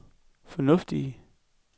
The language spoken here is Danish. fornuftigt